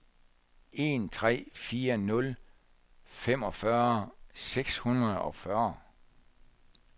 en tre fire nul femogfyrre seks hundrede og fyrre